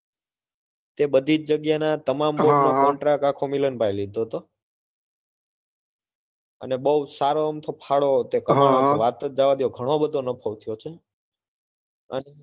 તે બધી જગ્યાના તમામ હમ હમ આખો contract મિલનભાઈએ લીધો હતો અને બહુ સારો અમથો ફાળો તે હમ હમ વાત જ જવા દ્યો ઘણો બધો નફો થયો છે તેમ